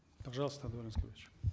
пожалуйста даурен аскерович